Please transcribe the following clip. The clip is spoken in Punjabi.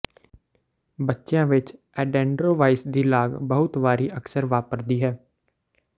ਬੱਚਿਆਂ ਵਿੱਚ ਏਡੇਨੋਓਰਵਾਈਸ ਦੀ ਲਾਗ ਬਹੁਤ ਵਾਰੀ ਅਕਸਰ ਵਾਪਰਦੀ ਹੈ